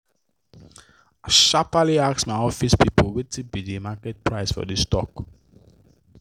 i sharparly ask my office people wetin be the market price for the stock